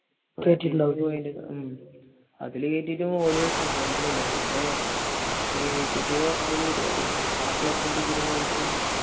പ്രാക്ടിസിന് പോയെന്റെ ഉം അതിൽ കേറ്റിട്ടും ഓർ സമ്മതിക്കുന്നില്ല. പിന്നെ ഒരു പരുപാടി ഉണ്ട് ആഹ് ക്ലബ്ബിന്റെ ഇതിൽ പോയിട്ടും